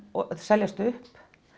og seljast upp